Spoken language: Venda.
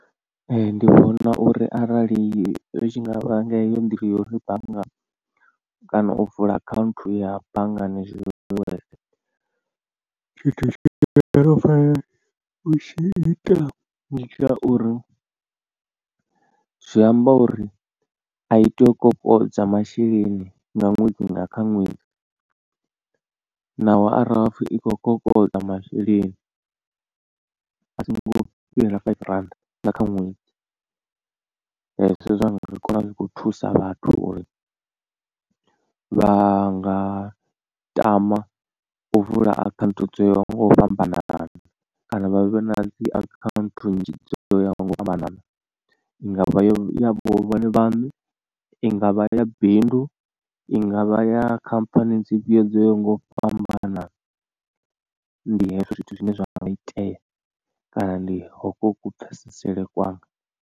Ee ndi vhona uri arali zwi tshi nga vha nga heyo nḓila ya uri banngani kana u vula account ya banngani tshithu tshi no fana u tshi ita ndi tsha uri zwi amba uri a i tei u kokodza masheleni nga ṅwedzi nga kha ṅwedzi. Naho arali hapfi i khou kokodza masheleni a songo fhira five rand nga kha ṅwedzi zwi khou thusa vhathu uri vha nga tama u vula akhaunthu dzo yaho nga u fhambanana. Kana vha vhe na dzi akhaunthu nzhi dzo yaho nga u fhambanana i ngavha ya vhone vhaṋe, i ngavha ya bindu, i ngavha ya khamphani dzifhio dzo yaho nga u fhambana ndi hezwo zwithu zwine zwa nga itea kana ndi hokwo ku pfeseselele kwanga.